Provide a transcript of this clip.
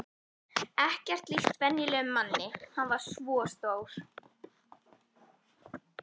Ekkert líkt venjulegum manni, hann var svo stór.